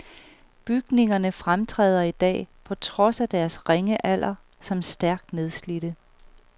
Bygningerne fremtræder i dag, på trods af deres ringe alder, som stærkt nedslidte.